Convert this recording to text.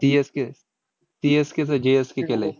CSK चं CSK चं GSK केलंय.